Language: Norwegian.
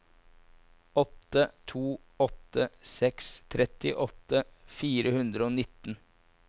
åtte to åtte seks trettiåtte fire hundre og nitten